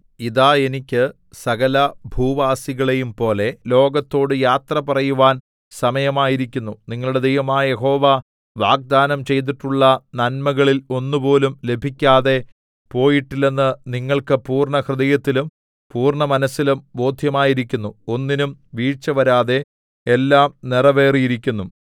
ഇതാ എനിക്ക് സകലഭൂവാസികളെയും പോലെ ലോകത്തോടു യാത്ര പറയുവാൻ സമയമായിരിക്കുന്നു നിങ്ങളുടെ ദൈവമായ യഹോവ വാഗ്ദാനം ചെയ്തിട്ടുള്ള നന്മകളിൽ ഒന്നുപോലും ലഭിക്കാതെ പോയിട്ടില്ലെന്ന് നിങ്ങൾക്ക് പൂർണ്ണഹൃദയത്തിലും പൂർണ്ണമനസ്സിലും ബോധ്യമായിരിക്കുന്നു ഒന്നിനും വീഴ്ചവരാതെ എല്ലാം നിറവേറിയിരിക്കുന്നു